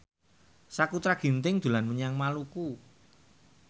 Sakutra Ginting dolan menyang Maluku